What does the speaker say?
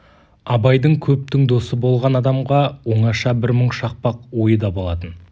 абайдың көптің досы болған адамға оңаша бір мұң шақпақ ойы да болатын